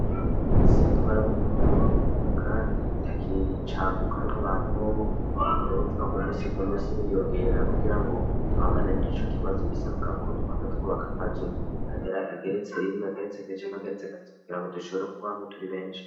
Isi twarabonyekamate kuhaka, kandi itakicaguka rw' abantu bobo umubavuga ku musi ru musi biyongerera kugira ngo duhanganie n'ico kibazo bisabwa ko twama twubaka amazu ageretse rimwe ageretse akicame ageretse agafiti kugira ngo dushobora kuba hamwe turi benshi.